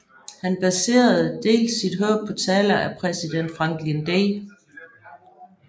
Han baserede dels sit håb på taler af præsident Franklin D